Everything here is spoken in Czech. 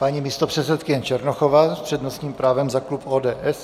Paní místopředsedkyně Černochová s přednostním právem za klub ODS.